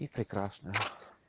и прекрасно